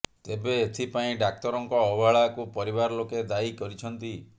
ତେବେ ଏଥିପାଇଁ ଡାକ୍ତରଙ୍କ ଅବହେଳାକୁ ପରିବାର ଲୋକେ ଦାୟୀ କରିଛନ୍ତି